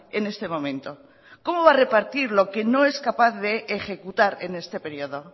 en este momento cómo va a repartir lo que no es capaz de ejecutar en este periodo